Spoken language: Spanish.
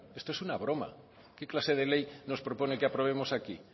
esto es una broma qué clase de ley nos propone que aprobemos aquí